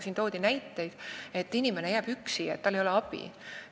Siin toodi ka näiteid, kuidas inimene jääb üksi, tal ei ole abi.